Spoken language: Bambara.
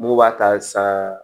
Mugu b'a ta sa